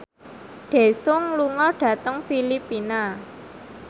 Daesung lunga dhateng Filipina